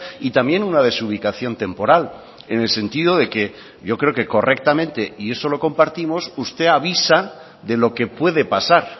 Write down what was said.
y también una desubicación temporal en el sentido de que yo creo que correctamente y eso lo compartimos usted avisa de lo que puede pasar